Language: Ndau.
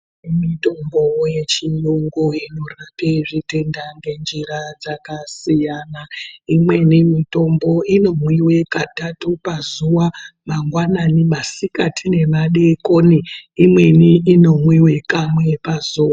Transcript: Mitombo yechiyungu inorape mitenda nenjira dzakasiyana imweni mitombo inomwiwe katatu pazuva mangwanani, masikati nemadekoni inweni inomwiwe kamwe pazuva.